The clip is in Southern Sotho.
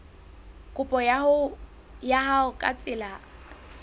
kopo ya hao ka tsela